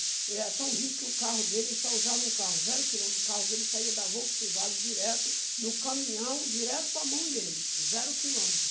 Ele era tão rico que o carro dele, só usava um carro, zero quilômetro, o carro dele saía da Volkswagen direto no caminhão, direto para a mão dele, zero quilômetro.